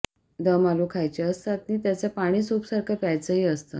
दम आलू खायचे असतात नि त्याचं पाणी सूपसारखं प्यायचंही असतं